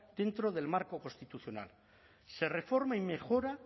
dentro del marco constitucional se reforma y mejora